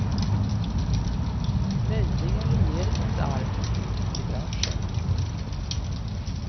Möjligen regeringens arm ut till branschen.